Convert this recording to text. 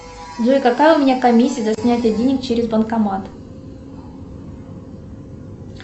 джой какая у меня комиссия за снятие денег через банкомат